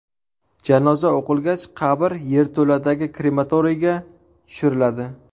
Janoza o‘qilgach, qabr yerto‘ladagi krematoriyga tushiriladi.